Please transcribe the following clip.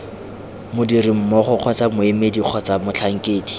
modirimmogo kgotsa moemedi kgotsa motlhankedi